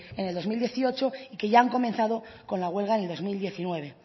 en el dos mil dieciocho y ya han comenzado con la huelga del dos mil diecinueve